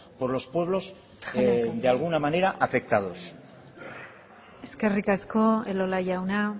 por los pueblos de alguna manera afectados eskerrik asko elola jauna